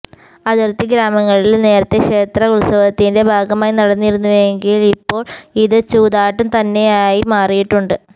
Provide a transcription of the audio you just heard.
അതിര്ത്തി ഗ്രാമങ്ങളില് നേരത്തെ ക്ഷേത്ര ഉത്സവത്തിന്റെ ഭാഗമായി നടത്തിയിരുന്നുവെങ്കില് ഇപ്പോള് ഇത് ചൂതാട്ടം തന്നെയായി മാറിയിട്ടുണ്ട്